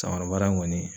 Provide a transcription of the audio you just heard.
Sakabara in kɔni